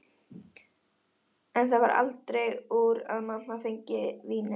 En það varð aldrei úr að mamma fengi vínið.